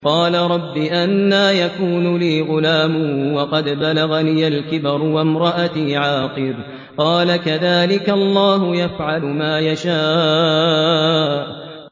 قَالَ رَبِّ أَنَّىٰ يَكُونُ لِي غُلَامٌ وَقَدْ بَلَغَنِيَ الْكِبَرُ وَامْرَأَتِي عَاقِرٌ ۖ قَالَ كَذَٰلِكَ اللَّهُ يَفْعَلُ مَا يَشَاءُ